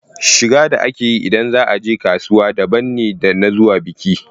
Shiga da ake yi ida za a je kasuwa daban ne da na zuwa biki.